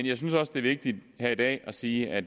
jeg synes også det er vigtigt her i dag at sige at